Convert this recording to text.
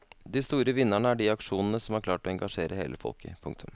De store vinnerne er de aksjonene som har klart å engasjere hele folket. punktum